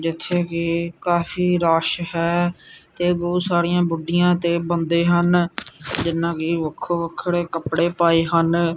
ਜਿੱਥੇ ਕੀ ਕਾਫੀ ਰੱਸ਼ ਹੈ ਤੇ ਬਹੁਤ ਸਾਰੀਆਂ ਬੁੱਢਿਆਂ ਤੇ ਬੰਦੇ ਹਨ ਜਿਹਨਾਂ ਨੇ ਵੱਖੋ ਵੱਖਰੇ ਕੱਪੜੇ ਪਾਏ ਹਨ।